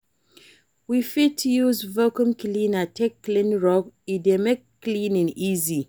We fit use vaccum cleaner take clean rug, e dey make cleaning easy